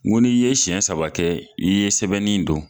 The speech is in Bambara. N ko n'i ye siɲɛ saba kɛ i ye sɛbɛnnen dɔn